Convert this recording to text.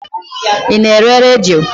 Ị na-ere redio?